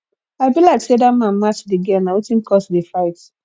i be like say that man match the girl na wetin cause the fight